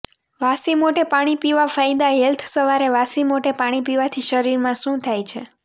વાસી મોઢે પાણી પીવા ફાયદા હેલ્થ સવારે વાસી મોઢે પાણી પીવાથી શરીરમાં શું થાય છે